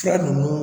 Fila ninnu